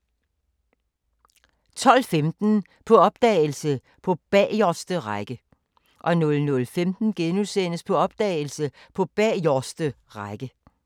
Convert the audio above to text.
12:15: På opdagelse – På bagerste række 00:15: På opdagelse – På bagerste række *